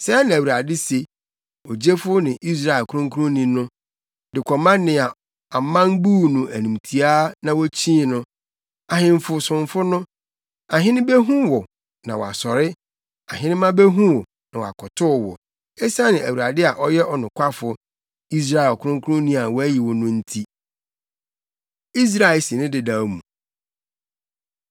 Sɛɛ na Awurade se, Ogyefo ne Israel ɔkronkronni no de kɔma nea aman buu no animtiaa na wokyii no, ahemfo somfo no; “Ahene behu wo na wɔasɔre ahenemma behu wo na wɔakotow wo esiane Awurade a ɔyɛ ɔnokwafo, Israel ɔkronkronni a wayi wo no nti.” Israel Si Ne Dedaw Mu